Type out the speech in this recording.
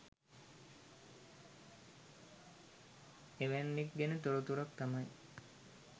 එවැන්නෙක් ගැන තොරතුරක් තමයි